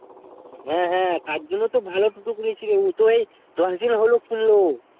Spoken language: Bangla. হ্যা হ্যা তার জন্য তো ভালো তুতো করেছিলি উতো ওই দশ দিন হলো পূর্ণ